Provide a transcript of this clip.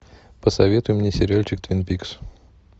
посоветуй мне сериальчик твин пикс